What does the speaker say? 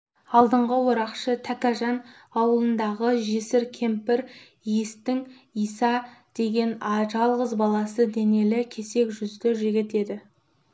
алдыңғы орақшы тәкежан аулындағы жесір кемпір иістің иса деген жалғыз баласы денелі кесек жүзді жігіт еді